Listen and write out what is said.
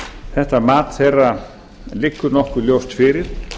þetta mat þeirra liggur nokkuð ljóst fyrir